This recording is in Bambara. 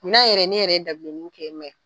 N'a yɛrɛ ne yɛrɛ ye dabileni kɛ